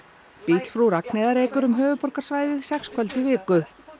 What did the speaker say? bíll frú Ragnheiðar ekur um höfuðborgarsvæðið sex kvöld í viku